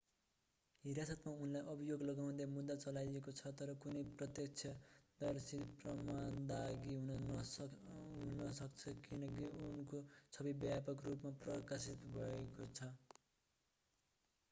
हिरासतमा उनलाई अभियोग लगाउँदै मुद्दा चलाइएको छ तर कुनै प्रत्यक्षदर्शी प्रमाण दागी हुन सक्छ किनकि उनको छवि व्यापक रूपमा प्रकाशित भएको छ